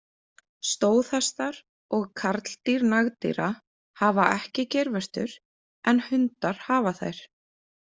Stóðhestar og karldýr nagdýra hafa ekki geirvörtur, en hundar hafa þær.